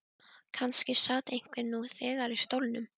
Kannski sat einhver nú þegar í stólnum.